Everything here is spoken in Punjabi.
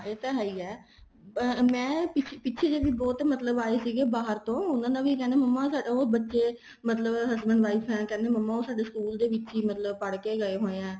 ਇਹ ਤਾਂ ਹੈ ਈ ਏ ਮੈਂ ਪਿੱਛੇ ਜ਼ੇ ਵੀ ਬਹੁਤ ਮਤਲਬ ਆਏ ਸੀਗੇ ਬਾਹਰ ਤੋ ਉਹਨਾ ਦਾ ਵੀ ਕਹਿਣੇ ਮੰਮਾ ਉਹ ਬੱਚੇ ਮਤਲਬ husband wife ਏ ਕਹਿੰਦੇ ਮੰਮਾ ਸਾਡੇ school ਦੇ ਵਿੱਚ ਹੀ ਮਤਲਬ ਪੜਕੇ ਗਏ ਹੋਏ ਏ